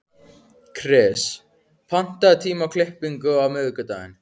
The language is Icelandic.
Kris, pantaðu tíma í klippingu á miðvikudaginn.